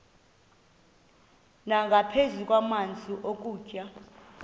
nangaphezu kwamanzi nokutya